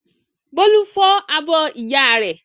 Bólú fọ́ abọ́ ìyá rẹ̀.